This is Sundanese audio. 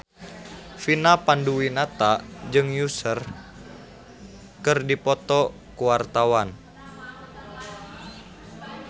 Vina Panduwinata jeung Usher keur dipoto ku wartawan